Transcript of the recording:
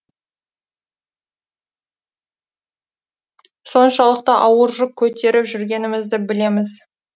соншалықты ауыр жүк көтеріп жүргенімізді білеміз